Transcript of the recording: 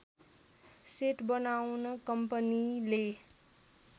set बनाउन कम्पनीले